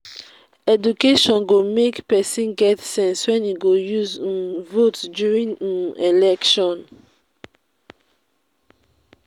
education go make pesin get sense wey e go use um vote during um election.